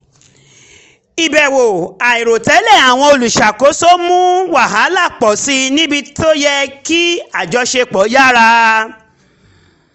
ìbẹ̀wò àìròtẹ́lẹ̀ àwọn olùṣàkóso mu wàhálà pọ̀ síi níbi tó yẹ kí àjọṣepọ̀ yára